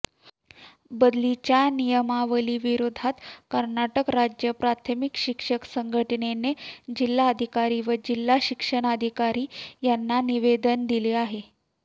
बदलीच्या नियमावलीविरोधात कर्नाटक राज्य प्राथमिक शिक्षक संघटनेने जिल्हाधिकारी व जिल्हा शिक्षणाधिकारी यांना निवेदन दिले आहे